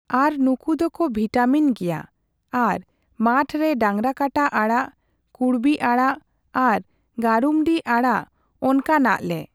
ᱟᱨ ᱱᱩᱠᱩ ᱫᱚᱠᱚ ᱵᱷᱤᱴᱟᱢᱤᱱ ᱜᱮᱭᱟ ᱾ᱟᱨ ᱢᱟᱴᱷ ᱨᱮ ᱰᱟᱝᱨᱟᱠᱟᱴᱟ ᱟᱲᱟᱜ ᱠᱩᱬᱵᱤ ᱟᱲᱟᱜ ᱟᱨ ᱜᱟᱨᱩᱢᱰᱤ ᱟᱲᱟᱜ ᱚᱝᱠᱟᱱᱟᱜ ᱞᱮ᱾